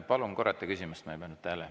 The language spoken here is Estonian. Palun korrata küsimust, ma ei pannud tähele.